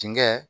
Dingɛ